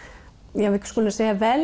ja við skulum segja velja